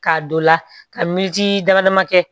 K'a don la ka militi dama dama kɛ